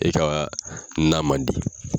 E kaa na man di.